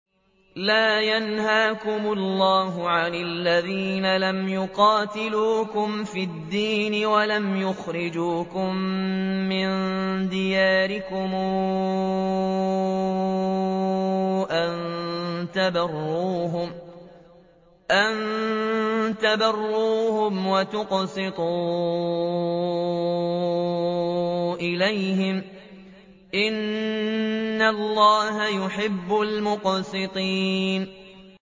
لَّا يَنْهَاكُمُ اللَّهُ عَنِ الَّذِينَ لَمْ يُقَاتِلُوكُمْ فِي الدِّينِ وَلَمْ يُخْرِجُوكُم مِّن دِيَارِكُمْ أَن تَبَرُّوهُمْ وَتُقْسِطُوا إِلَيْهِمْ ۚ إِنَّ اللَّهَ يُحِبُّ الْمُقْسِطِينَ